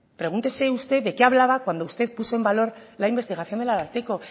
pregúntese usted de qué hablaba cuando usted puso en valor la investigación del ararteko